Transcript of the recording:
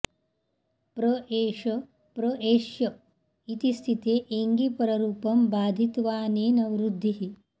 प्र एष प्र एष्य इति स्थिते एङि पररूपं बाधित्वाऽनेन वृद्धिः